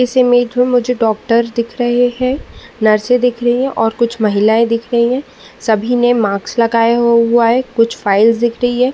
इस इमेज में मुझे डॉक्टर दिख रहें हैं। नर्सें दिख रहीं हैं और कुछ महिलाएं दिख रही है। सभी ने मास्क लगाए हुआ है। कुछ फाइल्स दिख रहीं हैं।